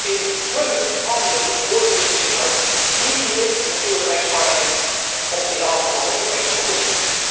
In hun handen hoort die beslissing ook, en niet hier in het Europees Parlement of in de handen van de Commissie.